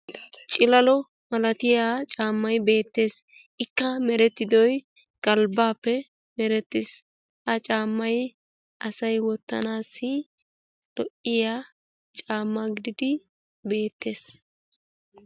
Cilalo malatiya caammay beettees. Ikka merettidoy galbbaappe merettiis. Ha caammay asay wottanaassi lo''iya caamma gididi beettees.